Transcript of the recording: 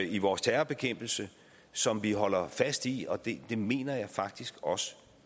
i vores terrorbekæmpelse som vi holder fast i og det mener jeg faktisk også